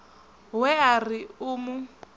we a ri u mu